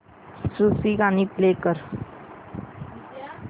सूफी गाणी प्ले कर